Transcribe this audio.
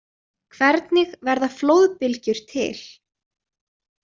Hvernig verða flóðbylgjur til?